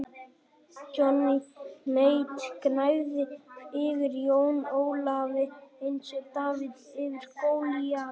Johnny Mate gnæfði yfir Jóni Ólafi eins og Davíð yfir Golíat.